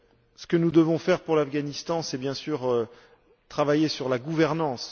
Ce que nous devons faire pour l'Afghanistan, c'est bien sûr travailler sur la gouvernance.